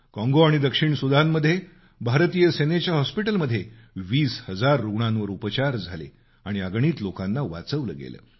काँगो आणि दक्षिण सुदानमध्ये भारतीय सेनेच्या हॉस्पिटलमध्ये 20 हजार रुग्णांवर उपचार झाले आणि अगणित लोकांना वाचवलं गेलं